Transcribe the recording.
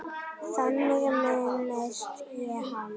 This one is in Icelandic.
Þannig minnist ég hans.